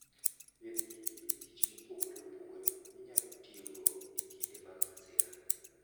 Bed gi gige tich mopogore opogore minyalo tiyogo e kinde mag masira.